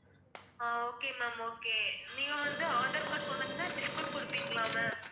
அஹ் okay ma'am okay நீங்க வந்து aadhar card கொண்டு வந்தா discount குடுப்பீங்களா ma'am